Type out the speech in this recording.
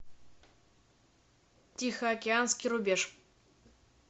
тихоокеанский рубеж